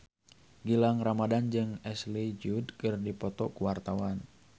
Gilang Ramadan jeung Ashley Judd keur dipoto ku wartawan